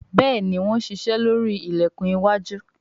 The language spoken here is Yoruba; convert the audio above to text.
Béèni wón ṣiṣe lórí ilẹkùn iwájú.